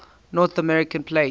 north american plate